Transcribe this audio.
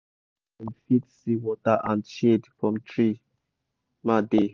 i do animal house near wer dem fit see water and shade from tree ma dey